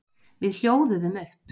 Við hljóðuðum upp.